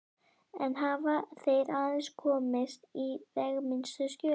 Enn hafa þeir aðeins komist í veigaminnstu skjölin.